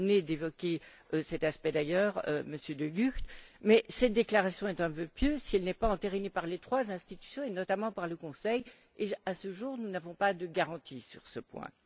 Vous venez d'évoquer cet aspect, d'ailleurs, Monsieur De Gucht mais cette déclaration est un vœu pieux si elle n'est pas entérinée par les trois institutions et, notamment, par le Conseil et, à ce jour, nous n'avons pas de garantie sur ce point.